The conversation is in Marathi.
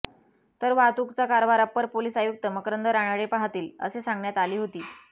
तर वाहतूकचा कारभार अप्पर पोलीस आयुक्त मकरंद रानडे पाहतील असे सांगण्यात आली होती